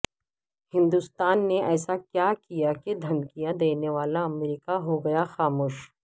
ہندوستان نے ایسا کیا کیا کہ دھمکیاں دینے والا امریکہ ہو گیا خاموش